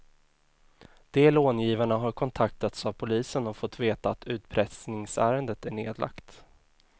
De långivarna har kontaktats av polisen och fått veta att utpressningsärendet är nedlagt.